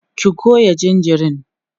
ki Goya jinjirin!